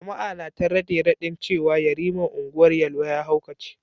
Jama’a na ta rade-radin cewa yariman Ungwar Yelwa ya haukace.